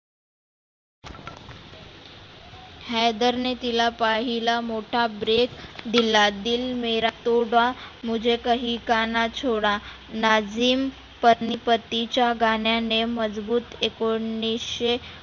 हैदरने तीला पहिला मोठा break दिला. दिल मेरा तोडा मुझे कहिकाना छोडा नाजीम पतीच्या गाण्याने मजबुत एकोणीसशे